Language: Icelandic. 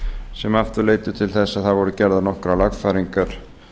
sem aftur leiddi til þess að það voru gerðar nokkrar lagfæringar